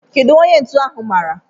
Kedụ onye ntu ahụ mara?